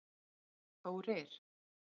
Þórir